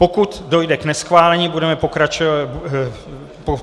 Pokud dojde k neschválení, budeme pokračovat...